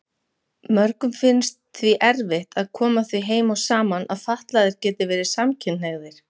Mörgum finnst því erfitt að koma því heim og saman að fatlaðir geti verið samkynhneigðir.